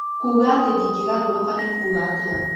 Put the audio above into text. kuuga atĩ ndingĩgarũrũka nĩ kuuga atĩa